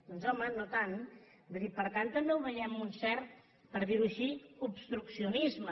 doncs home no tant vull dir per tant també ho veiem amb un cert per dirho així obstruccionisme